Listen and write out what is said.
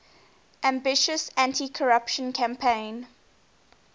ambitious anticorruption campaign